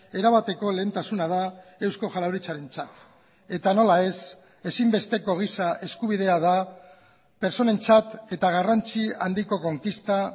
erabateko lehentasuna da eusko jaurlaritzarentzat eta nola ez ezinbesteko gisa eskubidea da pertsonentzat eta garrantzi handiko konkista